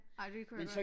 Ej det kunne jeg godt